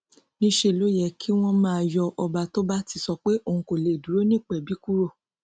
níṣẹ ló yẹ kí wọn máa yọ ọba tó bá ti sọ pé òun kò lè dúró nípẹbí kúrò